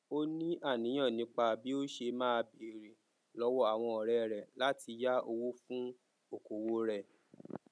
ó ní àníyàn nípa bí ó ṣe máa béèrè lọwọ àwọn ọrẹ rẹ láti yá owó fún okòwò rẹ